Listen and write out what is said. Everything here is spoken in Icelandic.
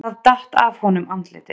Það datt af honum andlitið.